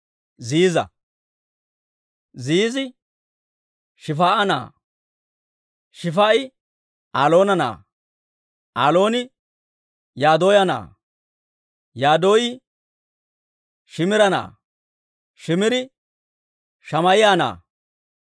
Ziiza. Ziizi Shif"a na'aa; Shif"i Alloona na'aa; Allooni Yadaaya na'aa; Yadaayi Shiimira na'aa; Shiimiri Shamaa'iyaa na'aa.